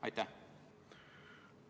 Aitäh!